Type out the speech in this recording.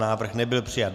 Návrh nebyl přijat.